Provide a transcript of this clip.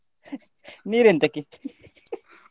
ನೀರ್ ಎಂತಕ್ಕೆ?